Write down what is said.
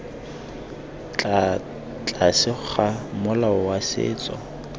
tlase ga molao wa setso